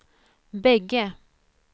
bägge